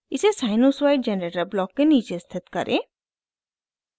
इसे sinusoid generator block के नीचे स्थित करें